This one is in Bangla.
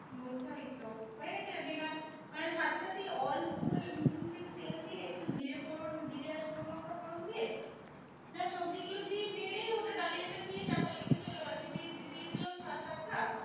বলতো ঐতো হয়ে গেছে মানে সাথে সাথেই অল্প মিশিয়ে নিয়ে তেল দিয়ে একটু জিরে ফোড়ন জিরে আর শুকনো লঙ্কা ফোড়ন দিয়ে যা সবজি গুলো দিয়ে নেড়ে ওটা ডালিয়াটা দিয়ে চাপালে কিছু সিটি দিয়ে দিলাম ছটা সাতটা